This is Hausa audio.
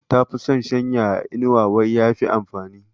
Ta fi son shanya a inuwa wai ya fi amfani.